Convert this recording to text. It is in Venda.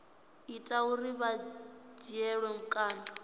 ita uri vha dzhielwe vhukando